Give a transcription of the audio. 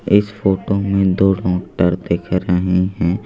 इस फोटो में दो डॉक्टर दिख रहे हैं।